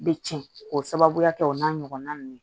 Bɛ tiɲɛ k'o sababuya kɛ o n'a ɲɔgɔnna ninnu